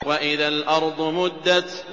وَإِذَا الْأَرْضُ مُدَّتْ